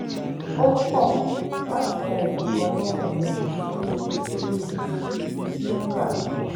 ó kọ̀ láti gba ẹ̀bùn kan lọ́wọ́ ọ̀rẹ́ rẹ̀ nítorí iye tí ó rà á